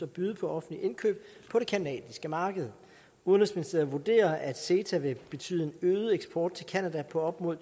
byde på offentlige indkøb på det canadiske marked udenrigsministeriet vurderer at ceta vil betyde en øget eksport til canada på op mod